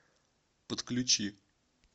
подключи